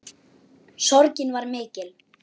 Sorgin var mikil.